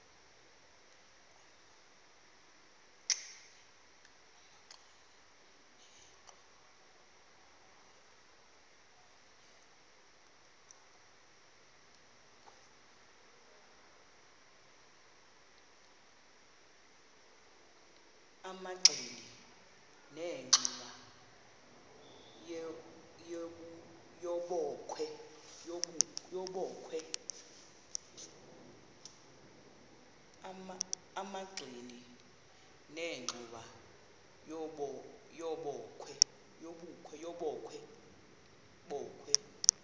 emagxeni nenxhowa yebokhwe